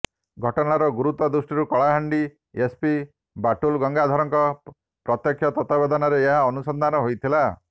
ଘଟଣାର ଗୁରତ୍ୱ ଦୃଷ୍ଟିରୁ କଳାହାଣ୍ଡି ଏସପି ବାଟୁଲ ଗଙ୍ଗାଧରଙ୍କ ପ୍ରତ୍ୟକ୍ଷ ତତ୍ୱାବଧାନରେ ଏହାର ଅନୁସଂଧାନ ହୋଇଥିଲା